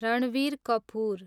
Ranveer Kapoor